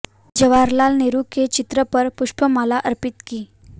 जवाहर लाल नेहरू के चित्र पर पुष्प माला अर्पित की